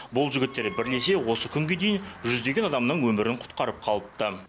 бұл жігіттер бірлесе осы күнге дейін жүздеген адамның өмірін құтқарып қалыпты